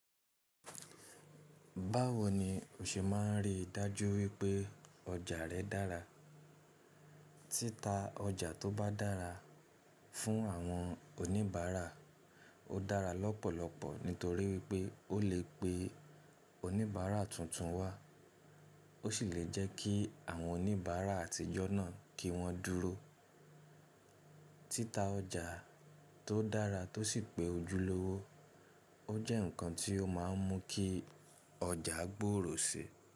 Báwo ni o ṣe máa ń rí dájú wípé ọjà rẹ dára? Títa ọjà tó bá dára fún àwọn oníbàárà ó dára lọ́pọ̀lọpọ̀ nítorí pé ó lè pe oníbàárà tuntun wá, ó sì lè jẹ́ kí àwọn oníbàárà àtijọ́ náà kí wọ́n dúró. Títa ọjà tó dára tó sì pé ojúlówó, ó jẹ́ ǹkan tí ó máa ń mú kí ọjà gbòòrò sí i.